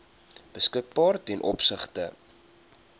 beskikbaar ten opsigte